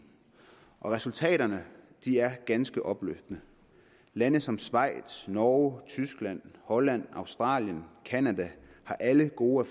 og resultaterne er ganske opløftende lande som schweiz norge tyskland holland australien canada har alle gode